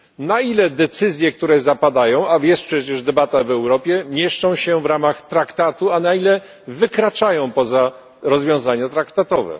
Na ile decyzje, które zapadają a jest przecież debata w Europie mieszczą się w ramach traktatu, a na ile wykraczają poza rozwiązania traktatowe?